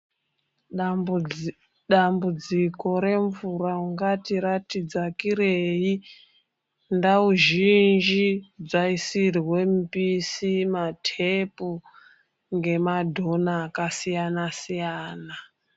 Dambudziko remvura ungati rati dzakirei .Ndau zhinji dzaisirwe mupisi ,matepu ngema dhona akasiyana siyana.